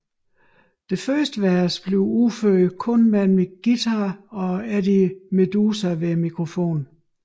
Det første vers udføres kun med en guitar og Eddie Meduza ved mikrofonen